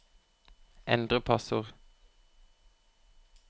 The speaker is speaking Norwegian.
endre passord